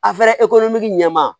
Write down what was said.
A fɔra ɲɛmaa